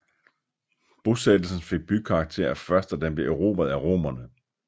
Bosættelsen fik bykarakter først da den blev erobret af Romerne